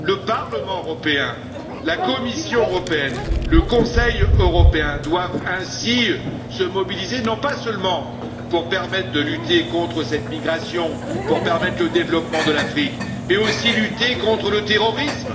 Le Parlement européen, la Commission européenne, le Conseil européen doivent ainsi se mobiliser, pas seulement pour permettre de lutter contre cette migration, pour permettre le développement de l'Afrique, mais aussi pour lutter contre le terrorisme.